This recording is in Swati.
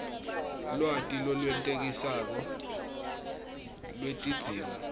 lwati lolwenetisako lwetidzingo